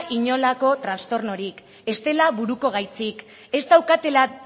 inolako trastornorik ez dela buruko gaitzik ea daukatela